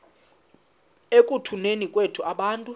ekutuneni kwethu abantu